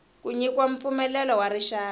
ku nyikiwa mpfumelelo wa rixaka